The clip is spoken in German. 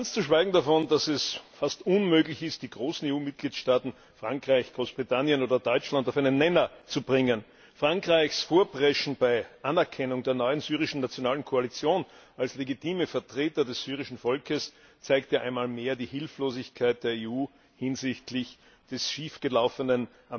Ganz zu schweigen davon, dass es fast unmöglich ist, die großen EU Mitgliedstaaten Frankreich, Großbritannien oder Deutschland auf einen Nenner zu bringen. Frankreichs Vorpreschen bei der Anerkennung der neuen Nationalen Koalition in Syrien als legitime Vertreter des syrischen Volkes zeigt einmal mehr die Hilflosigkeit der EU gegenüber dem des schiefgelaufenen